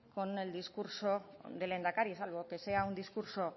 con el discurso del lehendakari salvo que sea un discurso